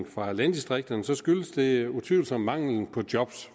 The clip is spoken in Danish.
fra landdistrikterne skyldes det utvivlsomt manglen på job